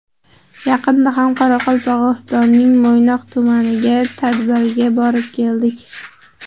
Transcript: Yaqinda ham Qoraqalpog‘istonning Mo‘ynoq tumaniga tadbirga borib keldik.